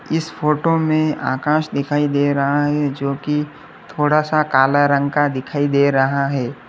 इस फोटो में आकाश दिखाई दे रहा है जो कि थोड़ा सा काला रंग का दिखाई दे रहा है।